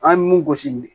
An ye mun gosi